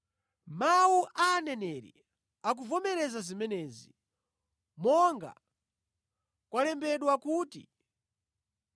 Mawu a aneneri akuvomereza zimenezi, monga kwalembedwa kuti,